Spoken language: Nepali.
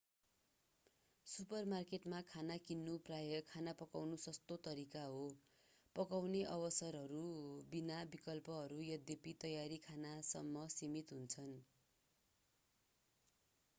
सुपरमार्केटमा खाना किन्नु प्राय खाना पाउनु सस्तो तरिका हो पकाउने अवसरहरू बिना विकल्पहरू यद्यपि तयारी खानासम्म सीमित हुन्छन्